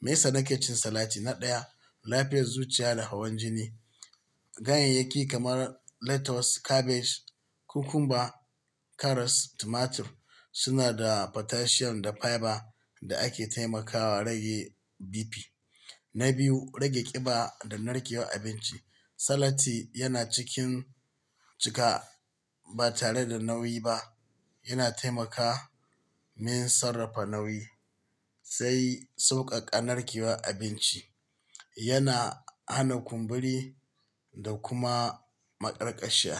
Me yasa na ke cin salati? Na ɗaya, lafiyar zuciya da hawan jini. Ganyayyaki kamar lettuce, cabbage, cucumber, karas, tomato suna da potassium da fiber da ake taimakawa rage BP. Na biyu, rage ƙiba da narkewar abinci. Salati yana cikin cika ba tare da nauyi ba. Yana taimakawa min sarrafa nauyi sai sauƙaƙan narkewar abinci. Yana hana kumburi da kuma maƙarƙashiya.